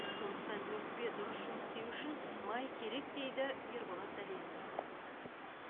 сондықтан өкпе дұрыс жұмыс істеуі үшін май керек дейді ерболат дәленов